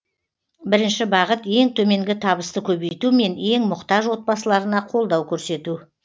бірінші бағыт ең төменгі табысты көбейту мен ең мұқтаж отбасыларына қолдау көрсету